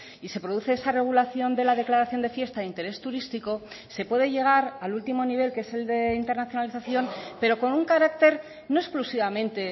y se produce esa regulación de la declaración de fiesta de interés turístico se puede llegar al último nivel que es el de internacionalización pero con un carácter no exclusivamente